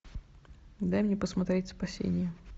дай мне посмотреть спасение